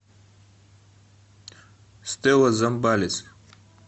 стелла замбалис